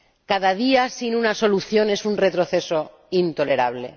Cada día sin una solución es un retroceso intolerable.